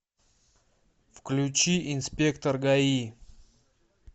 включи инспектор гаи